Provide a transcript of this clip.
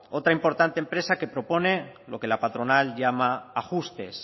otra importante empresa que propone lo que la patronal llama ajustes